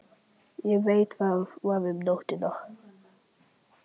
Ég veit það var um nóttina.